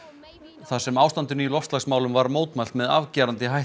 þar sem ástandinu í loftslagsmálum var mótmælt með afgerandi hætti